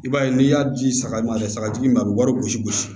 I b'a ye n'i y'a di saga ma a tɛ sagatigi ma a bɛ wari gosi gosi